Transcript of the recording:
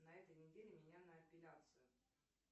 на этой неделе меня на эпиляцию